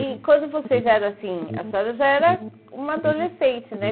E quando vocês eram assim, a senhora já era uma adolescente, né?